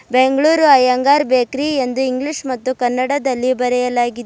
Bengaluru Iyengar bakery ಎಂದು English ಮತ್ತು ಕನ್ನಡದಲ್ಲಿ ಬರೆಯಲಾಗಿ.